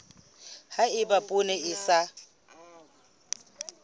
ha eba poone e sa